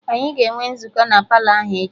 Anyị ga-enwe nzukọ na Palọ ahụ echi